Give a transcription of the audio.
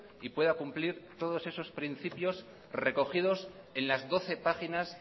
y pueda cumplir todos esos principios recogidos en las doce páginas